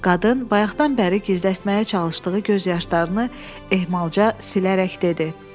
Qadın bayaqdan bəri gizlətməyə çalışdığı göz yaşlarını ehmalca silərək dedi.